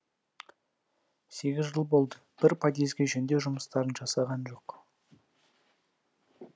сегіз жыл болды бір подъезге жөндеу жұмыстарын жасаған жоқ